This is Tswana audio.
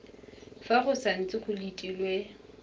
fa go santse go letilwe